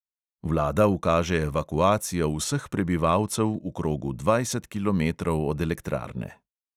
Vlada ukaže evakuacijo vseh prebivalcev v krogu dvajset kilometrov od elektrarne.